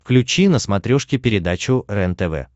включи на смотрешке передачу рентв